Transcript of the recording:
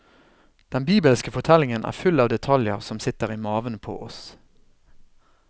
Den bibelske fortellingen er full av detaljer som sitter i maven på oss.